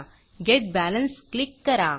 gate Balanceगेट balance click करा